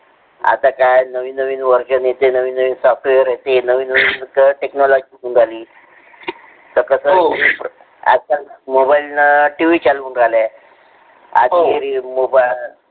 आता काय नवीन-नवीन वर्जण येते. नवीन-नवीन software येते. नवीन picture technology निघाली त कस होते . आजकाल tv mobile चालून राहल्या.